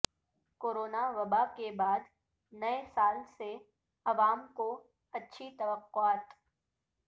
corona وباء کے بعد نئے سال سے عوام کو اچھی توقعات